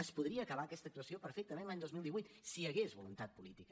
es podria acabar aquesta actuació perfectament l’any dos mil divuit si hi hagués voluntat política